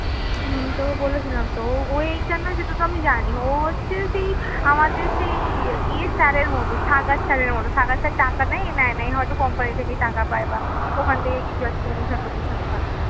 হম তো বলেছিলাম তো ওই HR না সেটা তো আমি জানি, ও হচ্ছে সেই আমাদের ই sir এর মতো, sir এর মত sir টাকা নেই এ নেই না এ হয়তো company থেকেই টাকা পাই বা ওখান থেকে কিছু একটা commission তমিশন পাই।